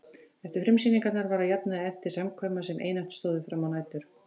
Eftir frumsýningar var að jafnaði efnt til samkvæma sem einatt stóðu frammá nætur.